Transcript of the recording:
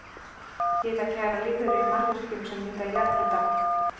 Hitakærar lífverur í mannvirkjum sem nýta jarðhita